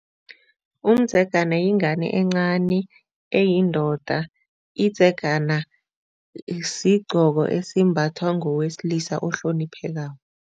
Umdzegana yingane encani eyindoda idzegana sigqoko esimbathwa ngowesilisa ohloniphekako.